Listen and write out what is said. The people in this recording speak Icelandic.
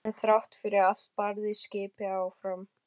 En þrátt fyrir allt barðist skipið áfram.